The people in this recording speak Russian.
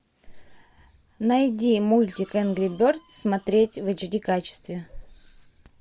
найди мультик энгри бердс смотреть в эйч ди качестве